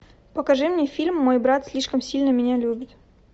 покажи мне фильм мой брат слишком сильно меня любит